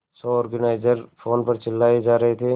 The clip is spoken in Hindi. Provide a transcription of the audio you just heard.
शो ऑर्गेनाइजर फोन पर चिल्लाए जा रहे थे